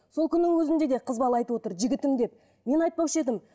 сол күннің өзінде де қыз бала айтып отыр жігітім деп мен айтпаушы едім